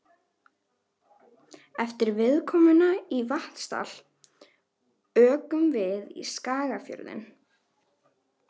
Eftir viðkomuna í Vatnsdal ökum við í Skagafjörðinn.